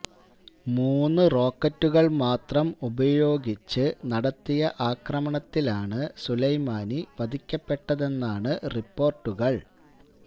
മൂന്നു റോക്കറ്റുകള് മാത്രം ഉപയോഗിച്ച് നടത്തിയ ആക്രമണത്തിലാണ് സുലൈമാനി വധിക്കപ്പെട്ടതെന്നാണ് റിപ്പോര്ട്ടുകള്